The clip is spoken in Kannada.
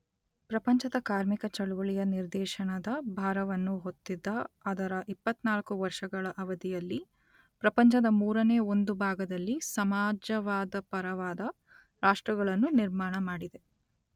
ಪ್ರಪಂಚದ ಕಾರ್ಮಿಕ ಚಳವಳಿಯ ನಿರ್ದೇಶನದ ಭಾರವನ್ನು ಹೊತ್ತಿದ್ದ ಅದರ ಇಪ್ಪತ್ತನಾಲ್ಕು ವರ್ಷಗಳ ಅವಧಿಯಲ್ಲಿ ಪ್ರಪಂಚದ ಮೂರನೆ ಒಂದು ಭಾಗದಲ್ಲಿ ಸಮಾಜವಾದಪರವಾದ ರಾಷ್ಟ್ರಗಳನ್ನು ನಿರ್ಮಾಣಮಾಡಿದೆ.